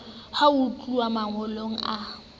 ha ho tluwa mangolong a